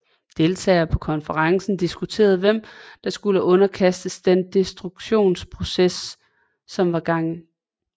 Deltagerne på konferencen diskuterede hvem som skulle underkastes den destruktionsprocess som var i gang